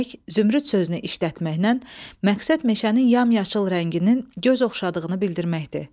Demək, zümrüd sözünü işlətməklə məqsəd meşənin yamyaşıl rənginin göz oxşadığını bildirməkdir.